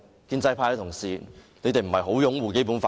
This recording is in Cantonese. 建制派的同事不是很擁護《基本法》嗎？